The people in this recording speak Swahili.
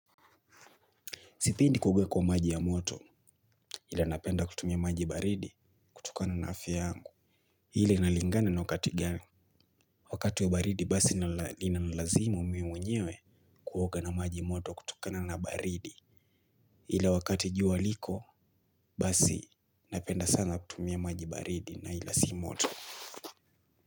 Sipendi kuoga kwa maji ya moto, ila napenda kutumia maji baridi, kutokana na afya yangu. Ila inalingana na wakati gani. Wakati wa baridi basi inanilazimu mi mwenyewe kuoga na maji moto kutokana na baridi. Ile wakati jua liko basi napenda sana kutumia maji baridi na ila si moto.